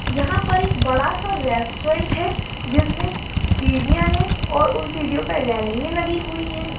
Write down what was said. यहां पर एक बड़ा-सा रेस्टुरेंट है जिसमें सीढ़िया हैं और उन सीढ़ियो पे रेलींगे लगी हुई हैं।